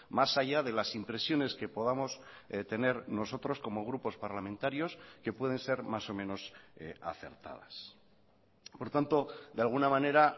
más allá de las impresiones que podamos tener nosotros como grupos parlamentarios que pueden ser más o menos acertadas por tanto de alguna manera